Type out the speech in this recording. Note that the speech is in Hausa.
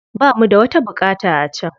Ba mu da wata buƙata a can.